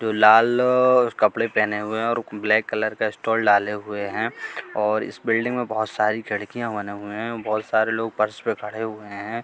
जो लाल कपड़े पहने हुए हैं और ब्लैक कलर का स्टोल डाले हुए है और इस बिल्डिंग में बहोत सारी खिड़कियां बने हुए है बहोत सारे लोग फर्श पर खड़े हुए हैं।